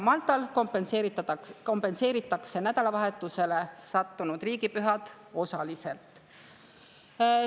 Maltal kompenseeritakse nädalavahetusele sattunud riigipühad osaliselt.